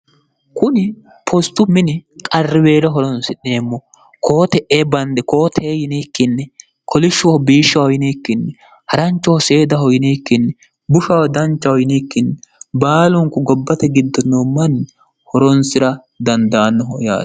kuni postu mini qarriweelo horonsi'neemmo koote'ee bande kootee yinikkinni kolishshooho biishshoho yinikkinni haranchoho seedaho yinikkinni bushaho danchaho yinikkinni baalunku gobbate giddonoo manni horonsi'ra dandaannoho yaaro